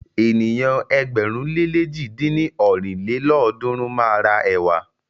Ènìyàn ẹgbẹ̀rún le lèjì dín ní ọ́rin lélọ́ọ̀dúnrún máa ra ẹ̀wà.